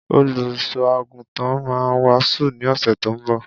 Olusọagútàn mà wàsú ni ọsẹ tọ ḿbọ.